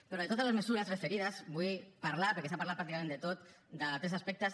però de totes les mesures referides vull parlar perquè s’ha parlat pràcticament de tot de tres aspectes